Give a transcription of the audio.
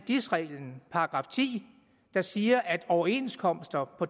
dis reglen § ti der siger at overenskomster på